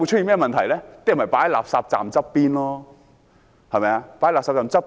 人們便會把垃圾放在垃圾站旁邊。